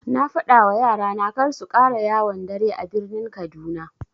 Na fadawa yara na karsu ƙara yawon dare a birnin kaduna.